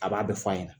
A b'a bɛɛ f'a ɲɛna